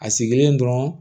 A sigilen dɔrɔn